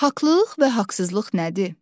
Haqlılıq və haqsızlıq nədir?